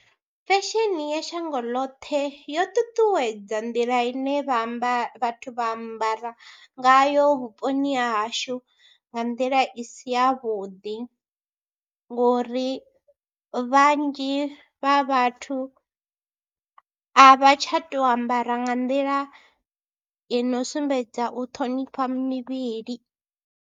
Fesheni ya shango ḽoṱhe yo ṱuṱuwedza nḓila ine vha amba vhathu vha ambara ngayo vhuponi ha hashu nga nḓila i si yavhuḓi ngori vhanzhi vha vhathu a vha tsha tou ambara nga nḓila i no sumbedza u ṱhonifha mivhili.